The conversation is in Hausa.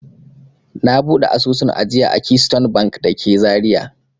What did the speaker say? Na buɗe asusun ajiya a Keystone Bank da ke Zariya.